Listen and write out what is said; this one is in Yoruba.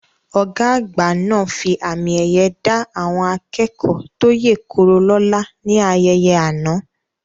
Ọ̀gá àgbà náà fi àmì ẹ̀yẹ dá àwọn akẹ́kọ̀ọ́ tó yè koro lóla ní ayẹyẹ àná